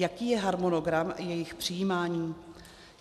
Jaký je harmonogram jejich přijímání?